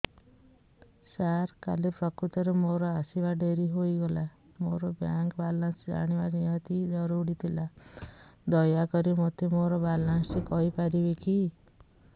ସାର କାଲି ପ୍ରକୃତରେ ମୋର ଆସିବା ଡେରି ହେଇଗଲା ମୋର ବ୍ୟାଙ୍କ ବାଲାନ୍ସ ଜାଣିବା ନିହାତି ଜରୁରୀ ଥିଲା ଦୟାକରି ମୋତେ ମୋର ବାଲାନ୍ସ ଟି କହିପାରିବେକି